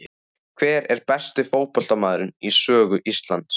Hver er besti fótboltamaðurinn í sögu Íslands?